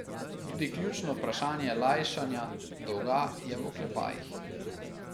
Tudi ključno vprašanje lajšanja dolga je v oklepajih.